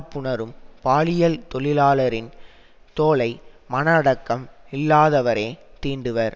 புணரும் பாலியல் தொழிலாளரின் தோளை மன அடக்கம் இல்லாதவரே தீண்டுவர்